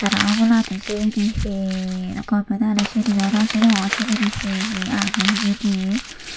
tara oboladi sibeni he gome daley sineyo nosinongor sibini he he agey hijani.